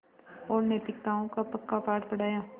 और नैतिकताओं का पक्का पाठ पढ़ाया